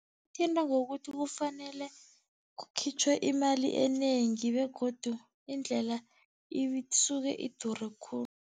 Thinta ngokuthi kufanele kukhitjhwe imali enengi begodu indlela isuke idure khulu.